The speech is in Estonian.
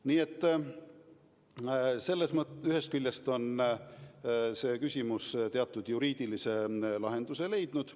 Nii et ühest küljest on see küsimus juriidilise lahenduse leidnud.